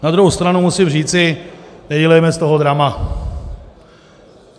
Na druhou stranu musím říci, nedělejme z toho drama.